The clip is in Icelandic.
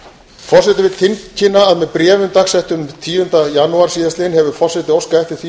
forseti vill tilkynna að með bréfum dagsettum tíunda janúar síðastliðinn hefur forseti óskað eftir því